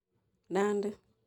Nandi